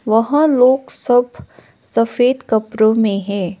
वहां लोग सब सफेद कपड़ो में है।